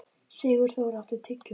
Sigurþór, áttu tyggjó?